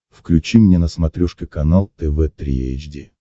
включи мне на смотрешке канал тв три эйч ди